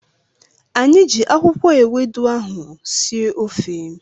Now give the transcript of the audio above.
Anyị ji akwụkwọ ewedu ahụ sie ofe